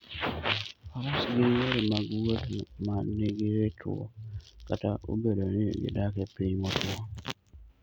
Faras gin yore mag wuoth ma nigi ritruok, kata obedo ni gidak e piny motwo.